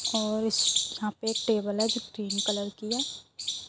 और इस यहाँ पे टेबल है जो ग्रीन कलर की है।